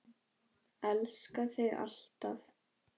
Elska þig alltaf.